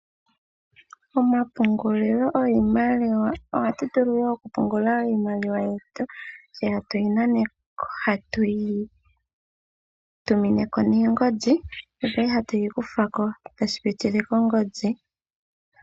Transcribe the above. Omapungulilo giimaliwa, ohatu vulu oku pungula iimaliwa yetu tse tatu yi nanako nenge tuyi tumeko oku pitila kongodhi.